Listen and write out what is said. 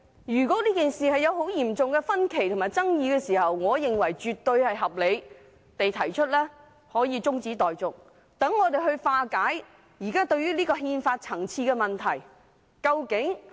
如果這件事引起嚴重的分歧和爭議，我認為提出中止待續絕對合理，好讓我們化解憲法層次上的問題。